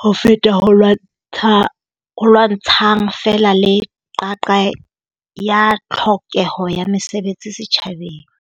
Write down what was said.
ho feta ho lwantsha ho lwantshang feela le qaqa ya tlhokeho ya mesebetsi setjhabeng.